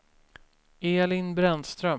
Elin Brännström